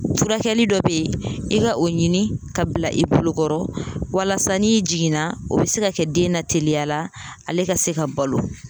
Furakɛli dɔ be yen, i ka o ɲini ka bila i bolokɔrɔ walasa n'i jiginna o be se ka kɛ den na teliya la ale ka se ka balo.